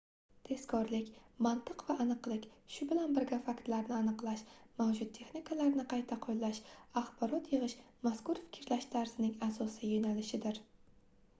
tezkorlik mantiq va aniqlik shu bilan birga faktlarni aniqlash mavjud texnikalarni qayta qoʻllash axborot yigʻish mazkur fikrlash tarzining asosiy yoʻnalishidir